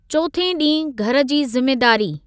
चोथे ॾीहं घरु जी ज़िमेदारी।